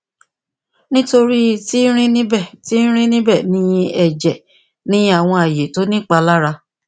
nitori ti rin nibẹ ti rin nibẹ ni ẹjẹ ni awọn aaye ti o ni ipalara